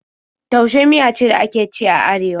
Taushe miya ce da ake ci a Arewa.